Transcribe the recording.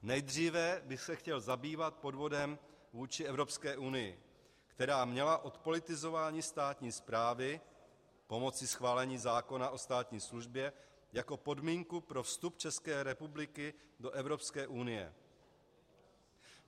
Nejdříve bych se chtěl zabývat podvodem vůči Evropské unii, která měla odpolitizování státní správy pomocí schválení zákona o státní službě jako podmínku pro vstup České republiky do Evropské unie.